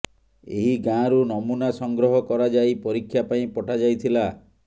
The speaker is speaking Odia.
ଏହି ଗାଁରୁ ନମୁନା ସଂଗ୍ରହ କରାଯାଇ ପରୀକ୍ଷା ପାଇଁ ପଠାଯାଇଥିଲା